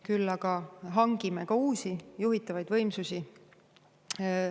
Küll aga hangime ka uusi juhitavaid võimsusi.